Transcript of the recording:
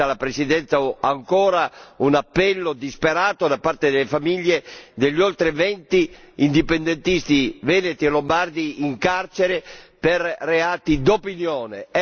La Presidenza mi consenta ancora un appello disperato da parte delle famiglie degli oltre venti indipendentisti veneti e lombardi in carcere per reati d'opinione.